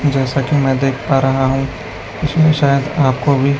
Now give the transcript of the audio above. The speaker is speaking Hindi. जैसा कि मैं देख पा रहा हूं उसमें शायद आपको भी--